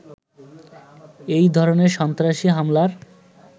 এ ধরনের সন্ত্রাসী হামলার